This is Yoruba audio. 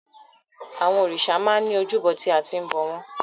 Àwọn òrìṣà máa ń ní ojúbọ tí a ti ń bọ̀ wọ́n.